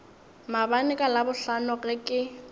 maabane ka labohlano ge ke